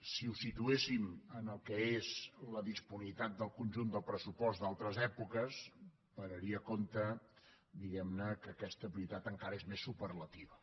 si ho situéssim en el que és la disponibilitat del conjunt del pressupost d’altres èpoques pararia compte diguem ne que aquesta prioritat encara és més superlativa